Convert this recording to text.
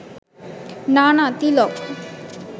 না না তিলক